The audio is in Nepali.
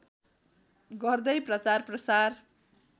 गर्दै प्रचारप्रसार